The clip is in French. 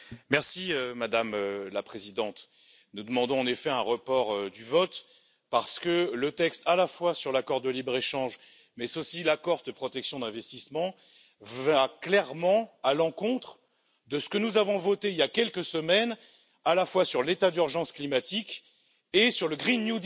Madame la Présidente, nous demandons en effet un report du vote, parce que le texte à la fois sur l'accord de libre échange, mais aussi sur l'accord de protection des investissements va clairement à l'encontre de ce que nous avons voté il y a quelques semaines tant sur l'état d'urgence climatique que sur le pacte vert européen.